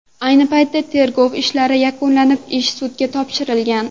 Ayni paytda tergov ishlari yakunlanib, ish sudga topshirilgan.